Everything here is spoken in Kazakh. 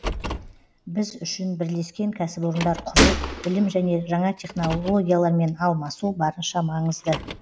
біз үшін бірлескен кәсіпорындар құру білім және жаңа технологиялармен алмасу барынша маңызды